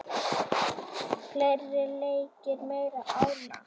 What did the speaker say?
Fleiri leikir, meira álag.